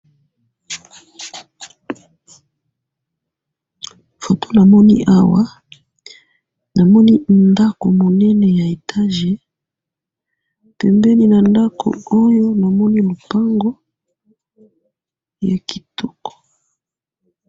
photo na moni awa na moni ndaku munene ya etage pembeni ya ndaku oyo na moni lopango ya kitoko